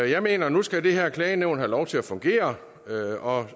jeg mener at nu skal det her klagenævn have lov til at fungere og